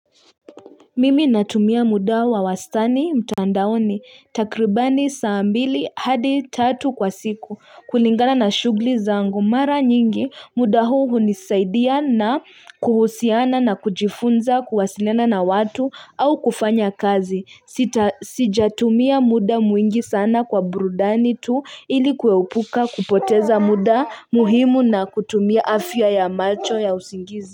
Mimi natumia muda wa wastani mtandaoni takribani saa mbili hadi tatu kwa siku kulingana na shughli zangu mara nyingi muda huu hunisaidia na kuhusiana na kujifunza kuwasiliana na watu au kufanya kazi. Sijatumia muda mwingi sana kwa burudani tu ili kuepuka kupoteza muda muhimu na kutumia afya ya macho ya usingizi.